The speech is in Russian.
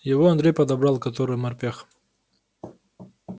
его андрей подобрал который морпех